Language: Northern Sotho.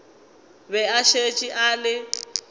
be a šetše a le